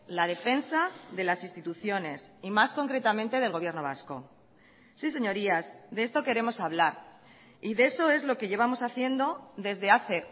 la defensa de las instituciones y más concretamente del gobierno vasco sí señorías de esto queremos hablar y de eso es lo que llevamos haciendo desde hace